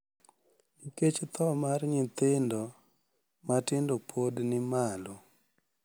Nikech tho mar nyithindo matindo pod ni malo,